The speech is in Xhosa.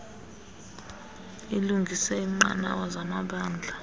ilungise iinqanawa zamabala